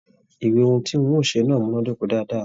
Ìwé ohùn tí ń ó ṣe náà múnàdoko dáadáa.